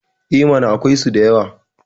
E mana, akwaisu da yawa.